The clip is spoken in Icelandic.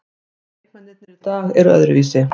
Leikmennirnir í dag eru öðruvísi.